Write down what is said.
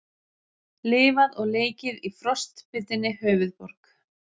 Lifað og leikið í frostbitinni höfuðborg